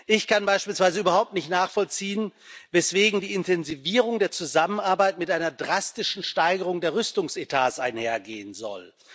Ich kann beispielsweise überhaupt nicht nachvollziehen, weswegen die Intensivierung der Zusammenarbeit mit einer drastischen Steigerung der Rüstungsetats einhergehen soll.